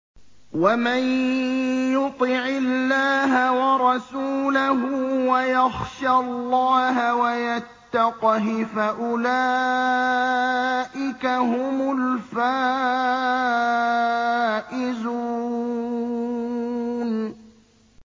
وَمَن يُطِعِ اللَّهَ وَرَسُولَهُ وَيَخْشَ اللَّهَ وَيَتَّقْهِ فَأُولَٰئِكَ هُمُ الْفَائِزُونَ